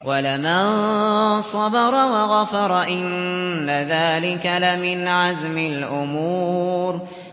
وَلَمَن صَبَرَ وَغَفَرَ إِنَّ ذَٰلِكَ لَمِنْ عَزْمِ الْأُمُورِ